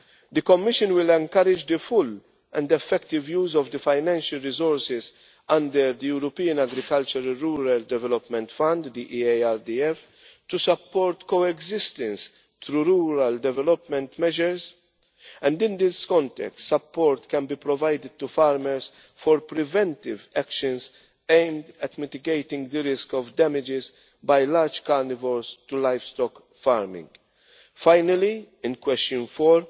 level. The Commission will encourage the full and effective use of the financial resources under the European Agricultural Rural Development Fund to support coexistence through rural development measures and, in this context, support can be provided to farmers for preventive measures aimed at mitigating the risk of damage by large carnivores to livestock farming. Lastly, in question